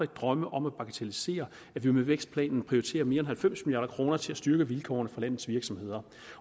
drømme om at bagatellisere at vi med vækstplanen prioriterer mere end halvfems milliard kroner til at styrke vilkårene for landets virksomheder